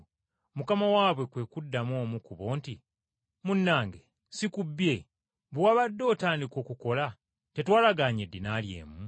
“Mukama waabwe kwe kuddamu omu ku bo nti, ‘Munnange si kubbye; bwe wabadde otandika okukola tetwalagaanye eddinaali emu?